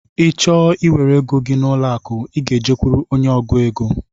Ị chọọ iwere égo gị n'ụlọ akụ, I gá e jekuru ónyé ọgụ égo.